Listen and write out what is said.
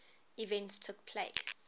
events took place